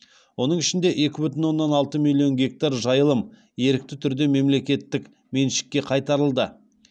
оның ішінде екі бүтін оннан алты миллион гектар жайылым ерікті түрде мемлекеттік меншікке қайтарылды